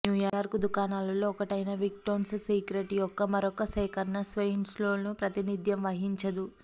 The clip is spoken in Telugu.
న్యూయార్క్ దుకాణాలలో ఒకటైన విక్టోన్స్ సీక్రెట్స్ యొక్క మరొక సేకరణ స్వేయిన్పోల్ ప్రాతినిధ్యం వహించదు